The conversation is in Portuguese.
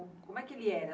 Como é que ele era?